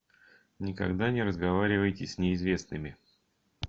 никогда не разговаривайте с неизвестными